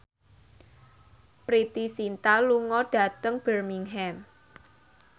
Preity Zinta lunga dhateng Birmingham